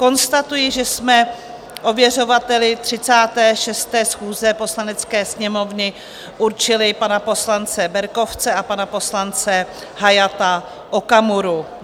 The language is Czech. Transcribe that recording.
Konstatuji, že jsme ověřovateli 36. schůze Poslanecké sněmovny určili pana poslance Berkovce a pana poslance Hayata Okamuru.